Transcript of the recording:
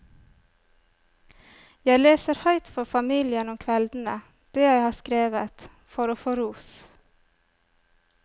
Jeg leser høyt for familien om kveldene det jeg har skrevet, for å få ros.